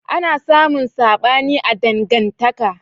ana samun saɓani a dangantaka